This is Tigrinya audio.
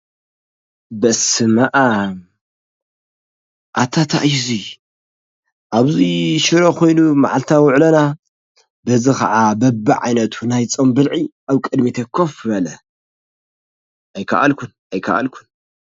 በስመ ኣብ!!! ኣታ እንታይ እዩ 'ዚ? ኣብዚ ሽሮ ኮይኑ ማዓልታዊ ውዕሎና፣ በዚ ከዓ በብዓይነቱ ናይ ፆም ብልዒ ኣብ ቅድሚተይ ኮፍ በለ ኣይካኣልኩን!!! ኣይካኣልኩን!!!